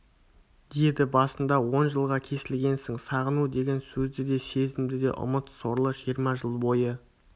деді басында он жылға кесілгенсің сағыну деген сөзді де сезімді де ұмыт сорлы жиырма жыл бойы